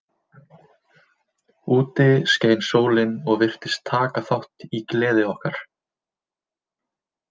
Úti skein sólin og virtist taka þátt í gleði okkar.